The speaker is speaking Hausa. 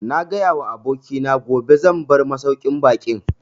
Na gaya wa abokina gobe zan bar masauƙin baƙin